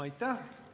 Aitäh!